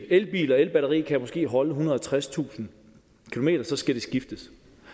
elbil og elbatteri kan måske holde ethundrede og tredstusind km så skal de skiftes